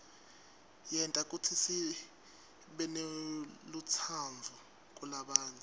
yenta kutsi sibenelutsaadvu kulabanye